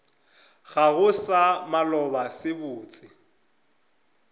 gago sa maloba se botse